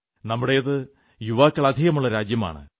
നമ്മുടേത് യുവാക്കൾ അധികമുള്ള രാജ്യമാണ്